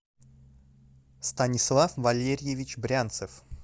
станислав валерьевич брянцев